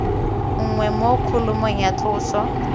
nngwe mo kholomong ya tloso